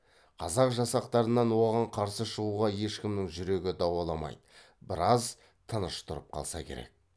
қазақ жасақтарынан оған қарсы шығуға ешкімнің жүрегі дауаламайды біраз тыныш тұрып қалса керек